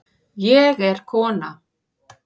Ég er kona